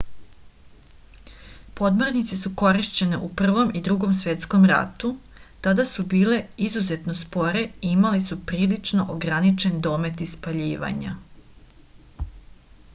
podmornice su korišćene u prvom i drugom svetskom ratu tada su bile izuzetno spore i imale su prilično ograničen domet ispaljivanja